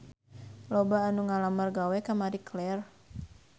Loba anu ngalamar gawe ka Marie Claire